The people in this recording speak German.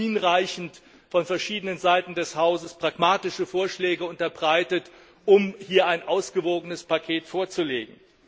Wir haben hinreichend von verschiedenen Seiten des Hauses pragmatische Vorschläge unterbreitet, um hier ein ausgewogenes Paket vorzulegen.